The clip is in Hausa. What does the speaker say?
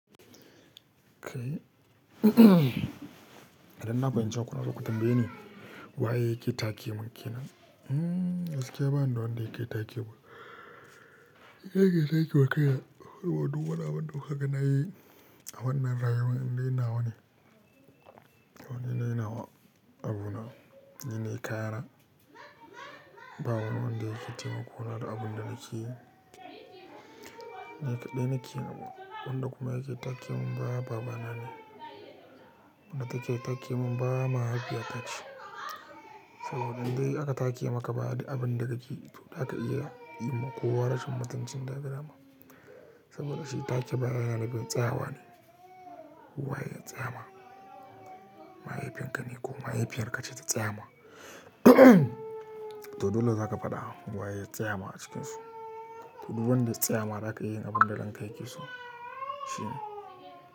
Kai, idan na fahimce kuna so ku tambaye ni waye yake take mun ke nan? Gaskiya bani da wanda yake take mun. Ni nake take ma kai na, saboda duk wani abu da duk kuka ga na yi a wannan rayuwa inda ina wane. Ninayi na wa abuna, ni nayi kayana ba wani wanda yake taimakona da abun da nake yi. Ni kaɗai nake, wanda kuma yake take mun baya, baba na ne. Wanda take mun ba mahaifiya ta ce. Saboda idan dai aka take maka baya duk abin da kake zaka iya ma kowa rashin mutuncin da kaga dama saboda shi take baya yana bin tsayawa ne. Wa ya tsayama? Mahaifin ka ne ko mahaifiyar ka ce ta tsayama? To dole zaka faɗa wa ya tsayama a cikinsu. To duk wanda ya tsayama za ka iya yin abin da ranka yake so shine.